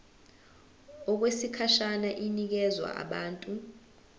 okwesikhashana inikezwa abantu